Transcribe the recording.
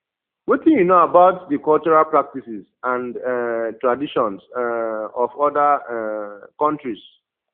wetin you know about di cultural practices and um traditions um of oda um countries